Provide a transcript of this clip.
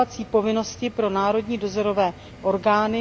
povinnosti pro národní dozorové orgány.